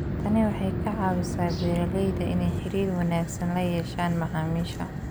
Tani waxay ka caawisaa beeralayda inay xiriir wanaagsan la yeeshaan macaamiisha.